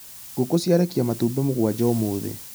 Ngũkũ ciarekia matumbĩ mũgwanja ũmũthĩ